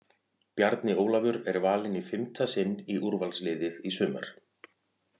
Bjarni Ólafur er valinn í fimmta sinn í úrvalsliðið í sumar!